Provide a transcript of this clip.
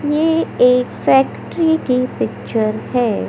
ये एक फैक्टरी की पिक्चर है।